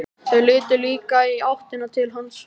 Þau litu líka í áttina til hans.